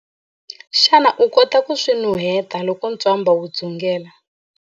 Xana u kota ku swi nuheta loko ntswamba wu dzungela?